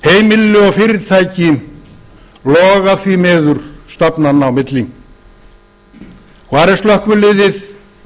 mánaðamót heimili og fyrirtæki loga því miður stafnanna á milli hvar er slökkviliðið